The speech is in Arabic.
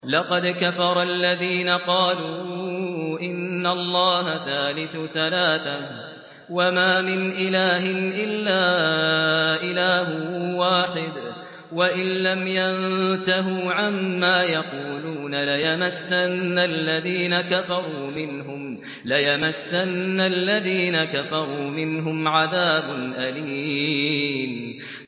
لَّقَدْ كَفَرَ الَّذِينَ قَالُوا إِنَّ اللَّهَ ثَالِثُ ثَلَاثَةٍ ۘ وَمَا مِنْ إِلَٰهٍ إِلَّا إِلَٰهٌ وَاحِدٌ ۚ وَإِن لَّمْ يَنتَهُوا عَمَّا يَقُولُونَ لَيَمَسَّنَّ الَّذِينَ كَفَرُوا مِنْهُمْ عَذَابٌ أَلِيمٌ